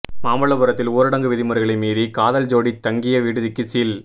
மாமல்லபுரத்தில் ஊரடங்கு விதிகளை மீறி காதல் ஜோடி தங்கிய விடுதிக்கு சீல்